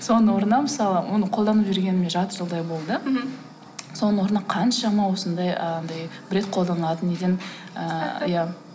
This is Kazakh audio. соның орнына мысалы оны қолданып жүргеніме жарты жылдай болды мхм соның орнына қаншама осындай ы анадай бір рет қолданатын неден ііі иә